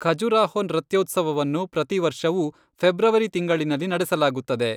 ಖಜುರಾಹೊ ನೃತ್ಯೋತ್ಸವವನ್ನು ಪ್ರತಿ ವರ್ಷವೂ ಫೆಬ್ರವರಿ ತಿಂಗಳಿನಲ್ಲಿ ನಡೆಸಲಾಗುತ್ತದೆ.